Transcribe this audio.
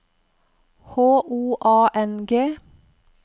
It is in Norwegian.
H O A N G